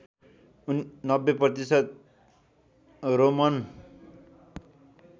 ९० प्रतिशत रोमन